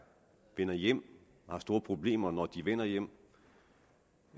vender hjem og har store problemer når de vender hjem